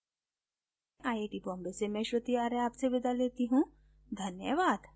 यह स्क्रिप्ट बिंदु पांडे द्वारा अनुवादित है आईआईटी बॉम्बे से मैं श्रुति आर्य अब आपसे विदा लेती हूँ धन्यवाद